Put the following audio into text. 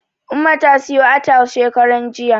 Umma ta siyo atile shekaranjiya.